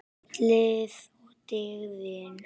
Ferlið og dygðin.